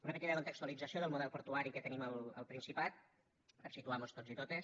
una petita contextualització del model portuari que tenim al principat per situar mos tots i totes